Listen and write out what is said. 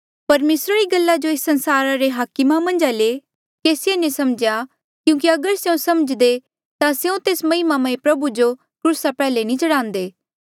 परमेसरा री गल्ला जो एस संसारा रे हाकमा मन्झा ले केसिए नी समझ्या क्यूंकि अगर स्यों समझ्दे ता स्यों तेस महिमामय प्रभु जो क्रूसा प्रयाल्हे नी चढ़ान्दे